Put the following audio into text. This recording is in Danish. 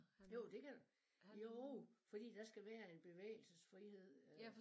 Jo det kan det jo fordi der skal være en bevægelsesfrihed øh